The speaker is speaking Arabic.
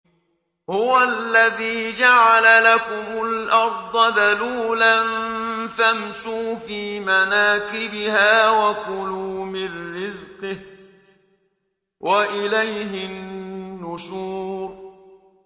هُوَ الَّذِي جَعَلَ لَكُمُ الْأَرْضَ ذَلُولًا فَامْشُوا فِي مَنَاكِبِهَا وَكُلُوا مِن رِّزْقِهِ ۖ وَإِلَيْهِ النُّشُورُ